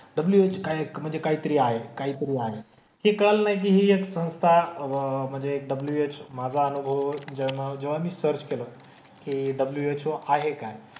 WH हा एक म्हणजे काहीतरी आहे. काहीतरी आहे. हे कळालं ना की हि एक संस्था म्हणजे WH माझा अनुभव जेव्हा जेव्हा मी सर्च केलं कि WHO आहे काय?